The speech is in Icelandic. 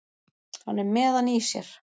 Hann er með hann í sér.